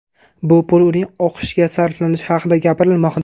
Bu pul uning o‘qishiga sarflanishi haqida gapirilmoqda.